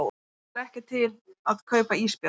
Stendur ekki til að kaupa ísbjörn